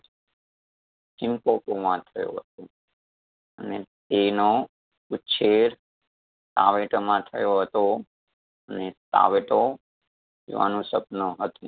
limpopo માં થયો હતો. અને તેનો ઉછેર માં થયો હતો ને તેઓનું સપનું હતું.